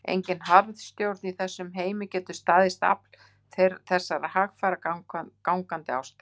Engin harðstjórn í þessum heimi getur staðist afl þessarar hægfara, gangandi ástar